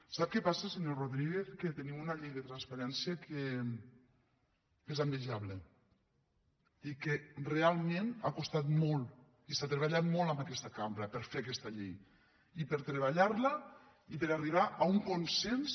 sap què passa senyor rodríguez que tenim una llei de transparència que és envejable i que realment ha costat molt i s’ha treballat molt en aquesta cambra per fer aquesta llei i per treballar la i per arribar a un consens